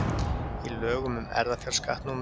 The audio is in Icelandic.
í lögum um erfðafjárskatt númer